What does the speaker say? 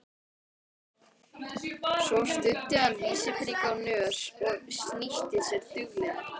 Svo studdi hann vísifingri á nös og snýtti sér duglega.